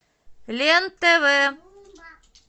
лен тв